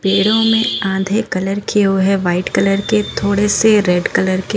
पेड़ो में आधे कलर किए हुए हैं व्हाईट कलर के थोड़े से रेड कलर के।